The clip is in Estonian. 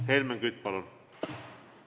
Helmen Kütt, palun!